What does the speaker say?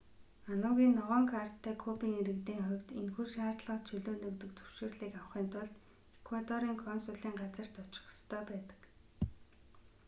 ану-ын ногоон карттай кубын иргэдийн хувд энэхүү шаардлагаас чөлөөлөгдөх зөвшөөрлийг авахын тулд эквадорын консулын газарт очих ёстой байдаг